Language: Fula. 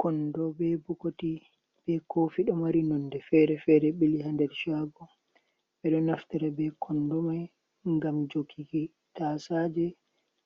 "Kondo be bokoti be kofi ɗo mari nonde fere fere bili ha nder shago ɓeɗo naftira be kondo mai ngam joguki tasaje